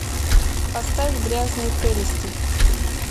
поставь грязные прелести